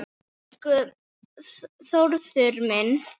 Elsku Þórður minn.